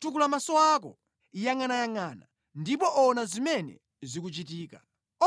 “Tukula maso ako, yangʼanayangʼana ndipo ona zimene zikuchitika.